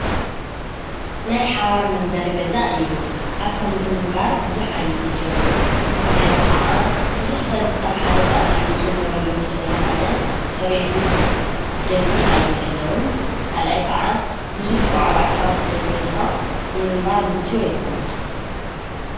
ናይ ሓባር መንበር ገዛእ እዩ። ኣብ ከምዝ ምንባር ብዙሕ ኣይምችወንን ምኽንያቱ ኸዓ ብዙኅ ሰብ ኣብ ሓደ ተኣኪቡ ዝነብረሉ ስለ ዝኾነ ጽሬቱ ብደንቢ ኣይሕለዉን? ካልኣይ ከዓ ብዙሕ ዋዕዋዕታ ስለ ዝበዝሖ ንምንባር ምችው ኣይኮነን።